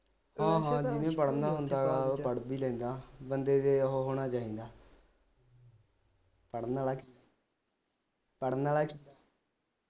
ਹਾਂ ਹਾਂ ਜਿੰਨੇ ਪੜਨਾ ਹੁੰਦਾ ਉਹ ਪੜ੍ਹ ਵੀ ਲੈਂਦਾ ਬੰਦੇ ਦੇ ਓ ਹੋਣਾ ਚਾਹੀਦਾ ਪੜਨ ਵਾਲਾ ਪੜਨ ਵਾਲਾ